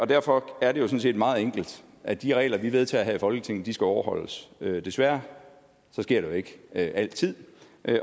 derfor er det jo sådan set meget enkelt at de regler vi vedtager her i folketinget skal overholdes desværre sker det jo ikke altid